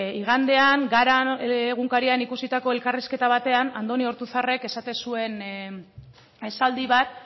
igandean gara egunkarian ikusitako elkarrizketa batean andoni ortuzarrek esaten zuen esaldi bat